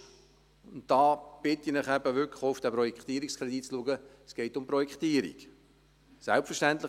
Fakt ist – und da bitte ich Sie, wirklich den Projektierungskredit zu beachten –, dass es um die Projektierung geht.